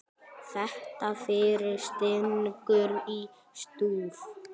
Þetta fyrir stingur í stúf.